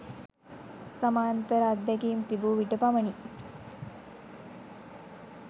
සමාන්තර අත්දැකීම් තිබූ විට පමණි.